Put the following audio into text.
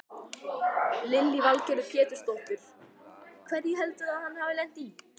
Lillý Valgerður Pétursdóttir: Hverju heldurðu að hann hafi lent í?